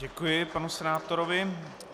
Děkuji panu senátorovi.